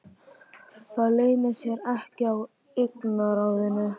Það leynir sér ekki á augnaráðinu.